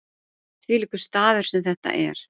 Þvílíkur staður sem þetta er.